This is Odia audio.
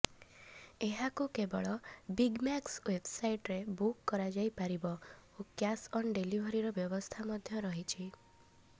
ଏହାକୁ କେବଳ ବିଗମାକ୍ସ େଓ୍ବବସାଇଟ୍ରେ ବୁକ କରାଯାଇପାରିବ ଓ କ୍ୟାସ ଅନ ଡେଲିଭରୀର ବ୍ୟବସ୍ଥା ମଧ୍ୟ ରହିଛି